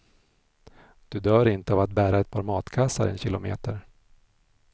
Du dör inte av att bära ett par matkassar en kilometer.